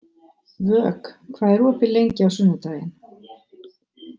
Vök, hvað er opið lengi á sunnudaginn?